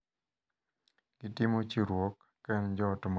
gitimo chiwruok, ka en joot ma Jokristo.